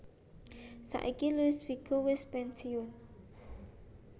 Saiki Luis Figo wis pensiun